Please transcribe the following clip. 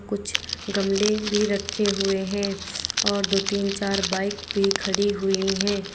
कुछ गमले भी रखे हुए है और दो तीन चार बाइक भी खड़ी हुई है।